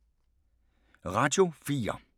Radio 4